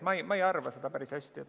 Ma ei arva päris nii.